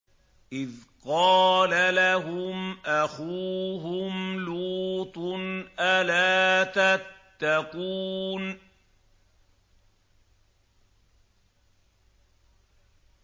إِذْ قَالَ لَهُمْ أَخُوهُمْ لُوطٌ أَلَا تَتَّقُونَ